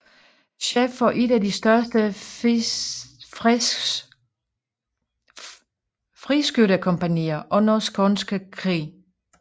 Chef for et af de største friskyttekompagnier under Skånske Krig